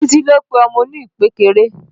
Títí ló pe ọmọ oní ìpékeré